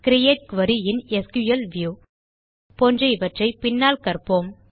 create query in SQL view போன்ற இவற்றை பின்னால் கற்போம்